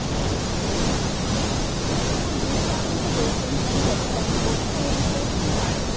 ନା ମୁଁ ତା ସହିତ ବହୁତ ଦିନ ହେଲାଣି କଥା ହେଇନି ତ ମୁଁ ଏ ବିଷୟରେ କିଛି ଜାଣିନି